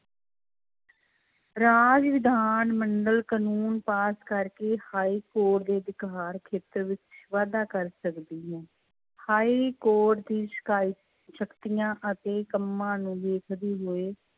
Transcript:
ਰਾਜ ਵਿਧਾਨ ਮੰਡਲ ਕਾਨੂੰਨ ਪਾਸ ਕਰਕੇ ਹਾਈਕੋਰਟ ਦੇ ਅਧਿਕਾਰ ਖੇਤਰ ਵਿੱਚ ਵਾਧਾ ਕਰ ਸਕਦੀ ਹੈ, ਹਾਈਕੋਰਟ ਦੀ ਸ਼ਿਕਾਇ ਸ਼ਕਤੀਆਂ ਅਤੇ ਕੰਮਾਂ ਨੂੰ ਵੇਖਦੇ ਹੋਏ